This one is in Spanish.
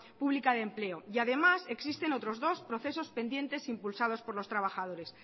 pública de empleo y además existen otros dos procesos pendientes impulsados por los trabajadores